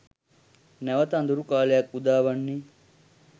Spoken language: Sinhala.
නැවත අඳුරු කාලයක් උදාවන්නේ